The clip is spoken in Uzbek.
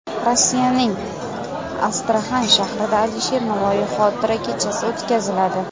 Rossiyaning Astraxan shahrida Alisher Navoiy xotira kechasi o‘tkaziladi.